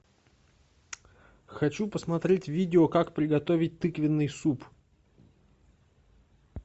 хочу посмотреть видео как приготовить тыквенный суп